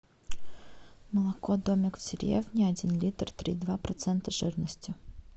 молоко домик в деревне один литр три и два процента жирности